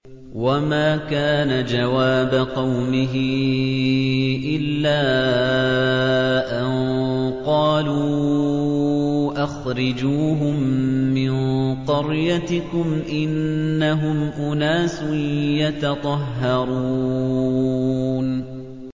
وَمَا كَانَ جَوَابَ قَوْمِهِ إِلَّا أَن قَالُوا أَخْرِجُوهُم مِّن قَرْيَتِكُمْ ۖ إِنَّهُمْ أُنَاسٌ يَتَطَهَّرُونَ